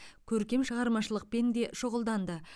көркем шығармашылықпен де шұғылданды